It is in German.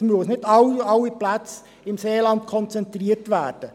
Es müssen nicht alle Plätze im Seeland konzentriert werden.